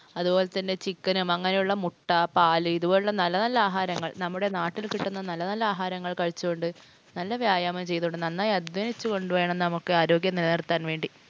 അതുപോലെ തന്നെ chicken ഉം, അങ്ങിനെയുള്ള മുട്ട, പാല് ഇതുപോലുള്ള നല്ല നല്ല നല്ല ആഹാരങ്ങൾ നമ്മുടെ നാട്ടിൽ കിട്ടുന്ന നല്ല നല്ല ആഹാരങ്ങൾ കഴിച്ചുകൊണ്ട് നല്ല വ്യായാമം ചെയ്തുകൊണ്ട് നന്നായി അധ്വാനിച്ചുകൊണ്ട് വേണം നമുക്ക് ആരോഗ്യം നിലനിർത്താൻ വേണ്ടി